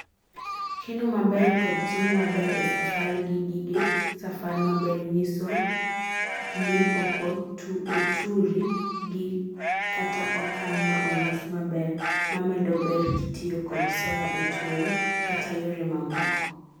keno maber kod tingo maber e safar gi gige safar maber nyiso jni oko oturi gikata okan ma olos maber mamedo ber kitiyo kod sola e tuoyo kata yore mamoko